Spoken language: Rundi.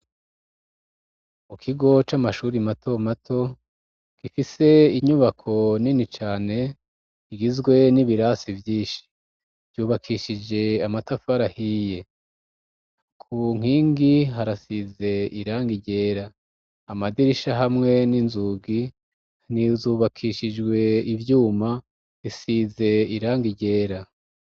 Mukigo c'amashure Matomato, gifise inyubako Nini cane kigizwe n'ibirasi vyinshi vyubakishije amatafari ahiye, kunkingi harasize irangi yera, Amadirisha hamwe ninzugi, inzu kubakishijwe ivyuma isize irangi ryera.